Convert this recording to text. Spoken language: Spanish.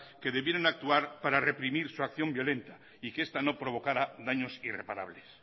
que debieron actuar para reprimir su acción violenta y que esta no provocara daños irreparables